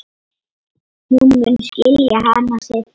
Hún mun skilja hana seinna.